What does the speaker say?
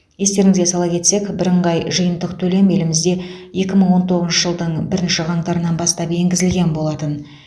естеріңізге сала кетсек бірыңғай жиынтық төлем елімізде екі мың он тоғызыншы жылдың бірінші қаңтарынан бастап енгізілген болатын